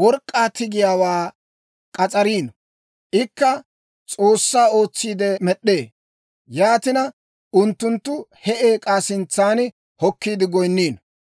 work'k'aa tigiyaawaa k'as'ariino. Ikka s'oossaa ootsiide med'd'ee; yaatina, unttunttu he eek'aa sintsan hokkiide goynniino.